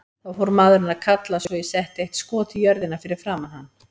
Þá fór maðurinn að kalla svo ég setti eitt skot í jörðina fyrir framan hann.